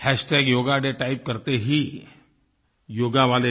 hashtag yoga day type करते ही योगा वाले